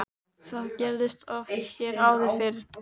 Það gerðist oft hér áður fyrr.